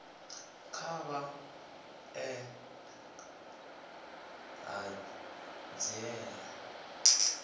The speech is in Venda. kha vha ḓe na ṱhanziela